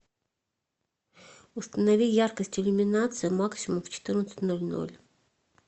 установи яркость иллюминации максимум в четырнадцать ноль ноль